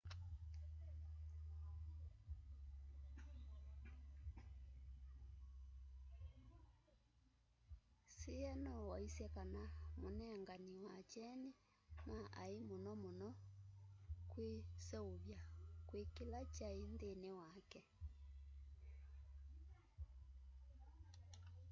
hsieh no waisye kana munengani wa kyeni ma ai muno muno kwiseuvya kwi kila kyai nthini wake